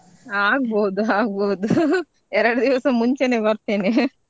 ಆಗ್ಬಹುದು ಆಗ್ಬಹುದು ಎರಡ್ದಿವ್ಸ ಮುಂಚೆನೆ ಬರ್ತೆನೆ .